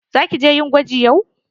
Za ki je yin gwaji yau?